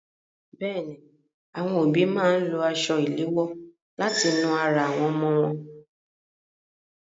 Bẹ́ẹ̀ni, àwọn òbí máa ń lo aṣọ ìléwọ láti nu ara àwọn ọmọ ọwọ́ wọn.